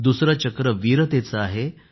दुसरं चक्र वीरतेचं आहे